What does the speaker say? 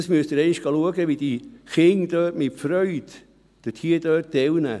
Sie müssen einmal erleben, wie die Kinder dort mit Freude teilnehmen.